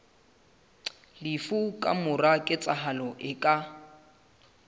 lefu kamora ketsahalo e ka